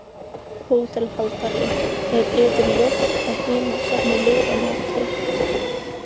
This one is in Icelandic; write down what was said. HÓTELHALDARI: Er yður ljóst að hinir safna liði á móti.